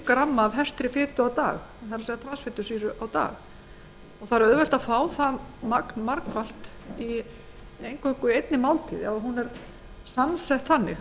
gramma af hertri transfitusýru á dag það er auðvelt að fá það magn margfalt eingöngu í einni máltíð ef hún er þannig